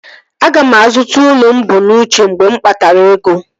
Aga m azụta ụlọ mụ bu n'uche mgbe m kpatara ego